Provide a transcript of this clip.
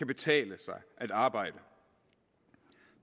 betale sig at arbejde